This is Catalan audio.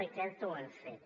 i crec que ho hem fet